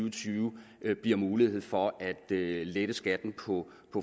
og tyve bliver mulighed for at lette skatten på